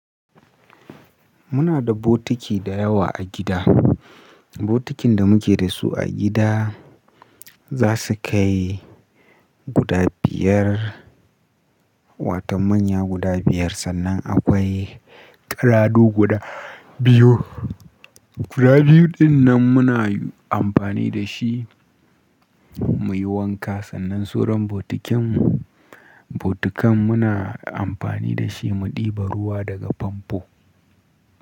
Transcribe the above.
Muna da botiki da yawa a gida. Bokitin da muke da su a gida za su kai guda biyar, wata manya guda biyar sannan akwai karadu guda biyu. Guda biyu dinnan muna amfani da shi muyi wanka sannan soron bokitin mu, bokitin muna amfani da shi mu ɗiba ruwa daga famfo.